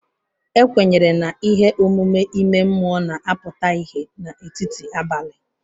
Ekwenyere na ihe omume ime mmụọ na-apụta ìhè n'etiti abalị.